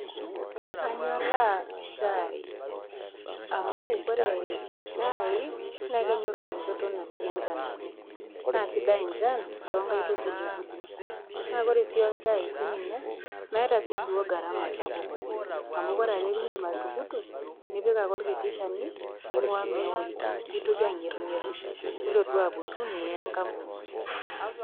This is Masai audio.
Kanyoraa shai amu ore nye shai na kenyo enchoto natii enchan oleng ,na kaisidai enchan toonkaitubulu ,na ore sii orshai meeta si duo garama sapuk oleng amu ore ake peidim atukurtu nipik are orkiti shani ninguo meo nitoki agerungeru nilotu aputu niya enkapuni.